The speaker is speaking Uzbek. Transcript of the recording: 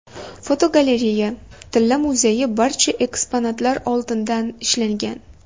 Fotogalereya: Tilla muzeyi barcha eksponatlar oltindan ishlangan.